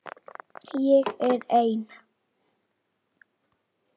Ég er ein.